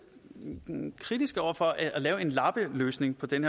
kritiske over for at lave en lappeløsning på den